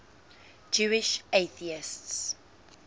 jewish atheists